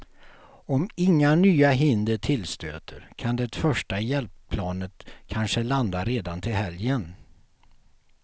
Om inga nya hinder tillstöter kan det första hjälpplanet kanske landa redan till helgen.